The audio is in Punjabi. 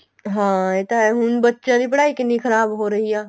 ਹਾਂ ਇਹ ਤਾਂ ਹੈ ਹੁਣ ਬੱਚਿਆਂ ਦੀ ਪੜ੍ਹਾਈ ਕਿੰਨੀ ਖ਼ਰਾਬ ਹੋ ਰਹੀ ਏ